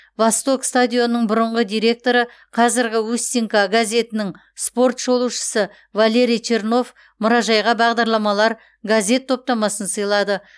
восток стадионының бұрынғы директоры қазіргі устинка газетінің спорт шолушысы валерий чернов мұражайға бағдарламалар газет топтамасын сыйлады